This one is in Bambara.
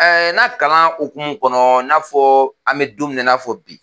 na kaan okumu kɔnɔ i n'a fɔ an bɛ don min i n'a fɔ bi.